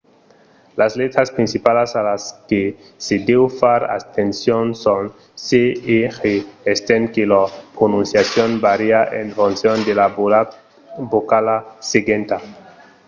las letras principalas a las que se deu far atencion son c e g estent que lor prononciacion vària en foncion de la vocala seguenta